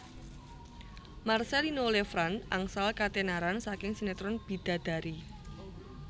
Marcellino Lefrandt angsal katenaran saking sinetron Bidadari